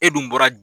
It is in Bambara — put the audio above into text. E dun bɔra